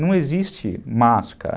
Não existe máscara.